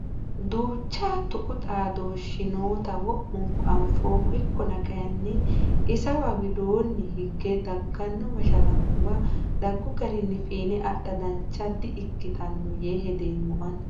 Duucha tuqu xaadoshi nootta wo'munku anfoommo ikkonna kayinni isawa widooni higge dagano mashalaqquwa dagu garinni fiine adha dancha di"ikkitino yee hedeemmo ani.